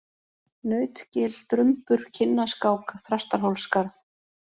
Nautgil, Drumbur, Kinnaskák, Þrastarhólsskarð